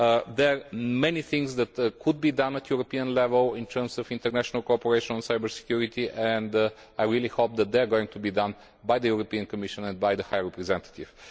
There are many things that could be done at European level in terms of international cooperation on cyber security and I really hope that they are going to be done by the European Commission and by the High Representative.